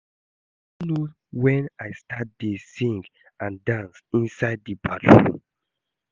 I no know wen I start to dey sing and dance inside the bathroom